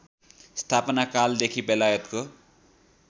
स्थापना कालदेखि बेलायतको